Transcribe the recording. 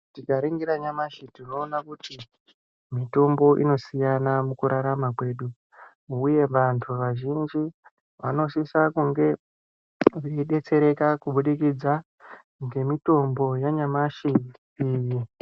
Tikaringira nyamashi tinoona kuti mitombo inosiyana mukurarama kwedu, uye vantu vazhinji vanosisa kunge veidetsereka kubudikidza ngemitombo yanyamashi iyi.